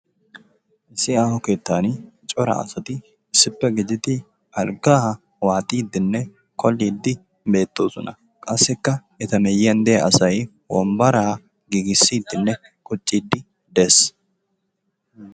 Issi aaho keettan cora asati issippe gididi algga waaxxidinne kolliidi beettoosona. Qassikka eta miyyiyan de'iya asay wombbaraa giigissidinne quccide dees.